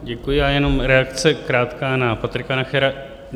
Děkuji, já jenom reakce krátká na Patrika Nachera.